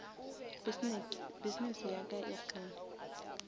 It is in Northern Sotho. business ya ka e kgone